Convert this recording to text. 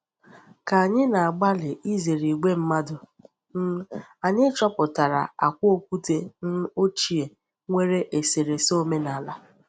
Ka anyị na-agbalị izere ìgwè mmadụ, um anyị chọpụtara akwa okwute um ochie nwere eserese omenaala.